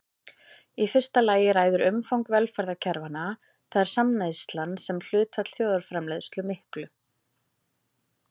Í fyrsta lagi ræður umfang velferðarkerfanna, það er samneyslan sem hlutfall þjóðarframleiðslu miklu.